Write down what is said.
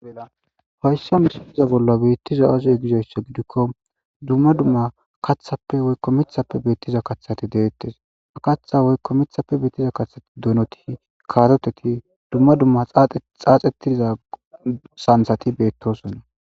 Hayssa missile bolla betizay aze gizayssa gidikko dumma dumma kaththappe woyko miththappe betiza kaththati dettes kaththa woyko miththape betiza kaththa gidoppe doonoti karoteti dumma dumma xaxetiza sanththati bettosona.